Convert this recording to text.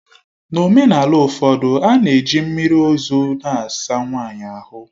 N'omenala ụfọdụ, a na-eji mmiri ozu na-asa nwanyị ahụ.